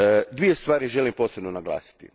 Dvije stvari želim posebno naglasiti.